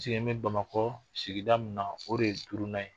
sigini Bamakɔ sigida min na o de ye duuruna ye.